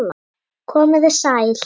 Komið þið sæl.